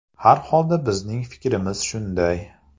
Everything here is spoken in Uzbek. Har holda bizning fikrimiz shunday.